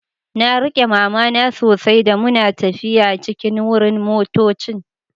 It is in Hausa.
Na rike mama na sosai da muna taffiya cikin wurin motoccin.